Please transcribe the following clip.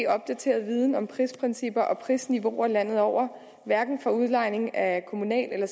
opdateret viden om prisprincipper og prisniveauer landet over hverken for udlejning af kommunal eller